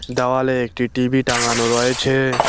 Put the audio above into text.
দাওয়ালে একটি টি_বি টাঙানো রয়েছে।